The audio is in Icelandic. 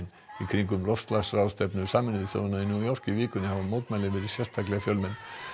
í kringum loftslagsráðstefnu Sameinuðu þjóðanna í New York í vikunni hafa mótmælin verið sérstaklega fjölmenn